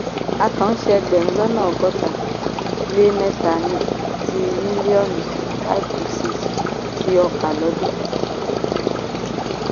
a kàn ń ṣe ẹgbẹ̀rún lọ́nà ọgọ́ta lé mẹ́ta ti mílíọ̀nù five to six ti ọkà lodun.